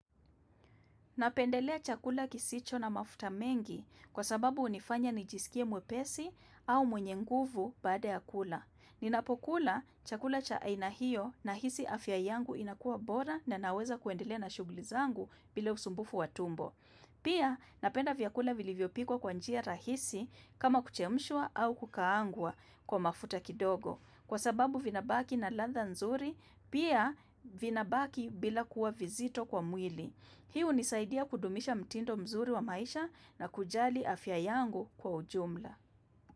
Napendelea chakula kisicho na mafuta mengi kwa sababu hunifanya nijisikie mwepesi au mwenye nguvu baada ya kula. Ninapokula chakula cha aina hio nahisi afya yangu inakuwa bora na naweza kuendelea na shughuli zangu bila usumbufu wa tumbo. Pia napenda vyakula vilivyopikwa kwa njia rahisi kama kuchemshwa au kukaangwa kwa mafuta kidogo kwa sababu vinabaki na ladha nzuri pia vinabaki bila kuwa vizito kwa mwili. Hii hunisaidia kudumisha mtindo mzuri wa maisha na kujali afya yangu kwa ujumla.